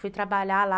Fui trabalhar lá.